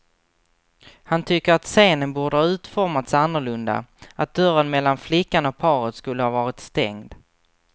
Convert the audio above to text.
Han tycker att scenen borde ha utformats annorlunda, att dörren mellan flickan och paret skulle ha varit stängd.